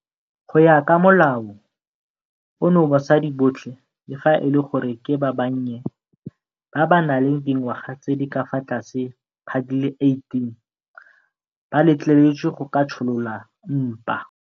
Go ya ka molao ono basadi botlhe, le fa e le gore ke ba bannye ba ba nang le dingwaga tse di ka fa tlase ga di le 18, ba letleletswe go ka tsholola mpa.